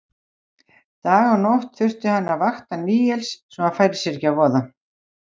Dag og nótt þurfti hann að vakta Níels að hann færi sér ekki að voða.